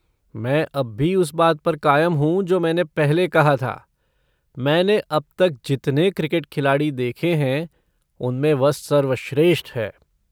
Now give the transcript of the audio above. मैं अब भी उस बात पर कायम हूँ जो मैंने पहले कहा था, मैंने अब तक जितने क्रिकेट खिलाड़ी देखे हैं उनमें वह सर्वश्रेष्ठ है।